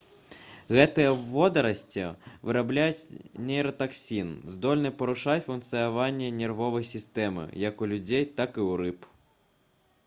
гэтыя водарасці вырабляюць нейратаксін здольны парушаць функцыянаванне нервовай сістэмы як у людзей так і ў рыб